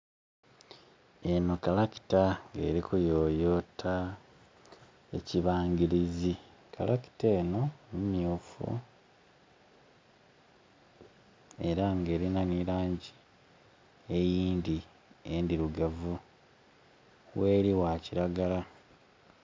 Eno kalakita nga eri kuyoyota ekibangirizi, kalakita eno myufu era nga elina nhi langi eyindhi endhirugavu gheli gha kiragala.